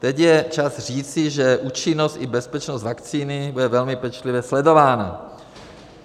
Teď je čas říci, že účinnost i bezpečnost vakcíny bude velmi pečlivě sledována.